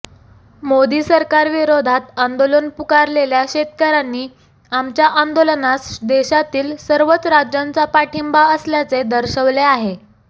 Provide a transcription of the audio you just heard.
मोदी सरकारविरोधात आंदोलन पुकारलेल्या शेतकऱ्यांनी आमच्या आंदोलनास देशातील सर्वच राज्यांचा पाठिंबा असल्याचे दर्शवले आहे